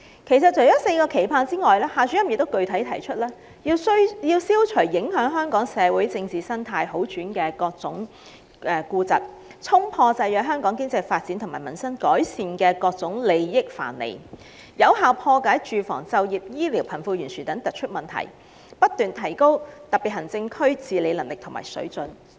其實，除"四個期盼"外，夏主任亦具體地指出，管治者要"消除影響香港社會政治生態好轉的各種痼疾，衝破制約香港經濟發展和民生改善的各種利益藩籬，有效破解住房、就業、醫療、貧富懸殊等突出問題，不斷提高特別行政區治理能力和水準"。